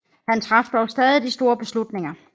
Han traf dog stadig de store beslutninger